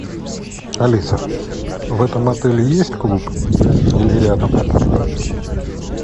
алиса в этом отеле есть клуб или рядом